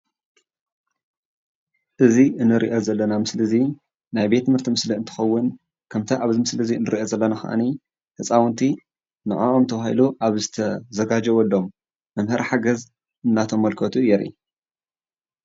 እዙዬ እንሪኦ ዘለና ምስሊ እዚ ናይ ቤት ትምህርቲ ምስሊ እንትኾውን ኸምቲ ኣብ ምስሊ እንሪኦ ዘለና ኸዓኒ ህፆውንቲ ንዐዖም ተባሂሉ ዝተዘጋጀዎሎሞ መሞሀሪ ሓገዝ እናተመልከቱ የርኢ።